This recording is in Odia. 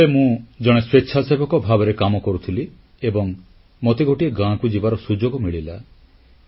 ସେତେବେଳେ ମୁଁ ଜଣେ ସ୍ୱେଚ୍ଛାସେବକ ଭାବରେ କାମ କରୁଥିଲି ଏବଂ ମତେ ଗୋଟିଏ ଗାଁକୁ ଯିବାର ସୁଯୋଗ ମିଳିଲା